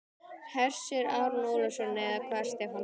Hersir Aron Ólafsson: Eða hvað Stefán?